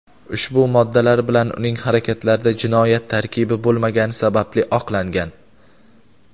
ushbu moddalar bilan uning harakatlarida jinoyat tarkibi bo‘lmagani sababli oqlangan.